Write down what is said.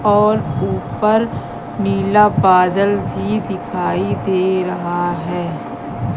और ऊपर नीला बादल भी दिखाई दे रहा है।